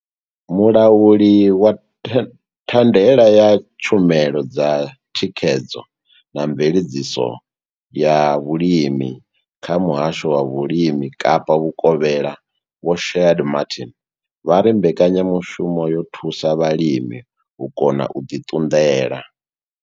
Mulauli wa the wa thandela ya tshumelo dza thikhedzo na mveledziso ya vhulimi kha Muhasho wa Vhulimi Kapa Vhukovhela Vho Shaheed Martin vha ri mbekanya mushumo yo thusa vhalimi u kona u ḓi ṱunḓela.